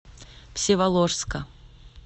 всеволожска